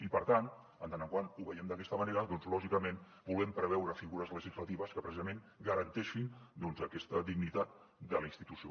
i per tant com que ho veiem d’aquesta manera doncs lògicament volem preveure figures legislatives que precisament garanteixin aquesta dignitat de la institució